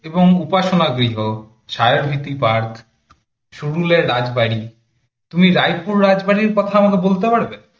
এবং উপাসনা গৃহ, ছায়াবীথি park, সুরুলয়া রাজবাড়ী তুমি রায়পুর রাজবাড়ির কথা আমাকে বলতে পারবে?